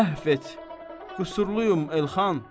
Əhv et, qüsurluyum Elxan.